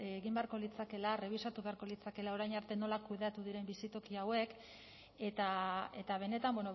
egin beharko litzatekeela errebisatu beharko litzatekeela orain arte nola kudeatu diren bizitoki hauek eta benetan